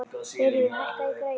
Þuríður, hækkaðu í græjunum.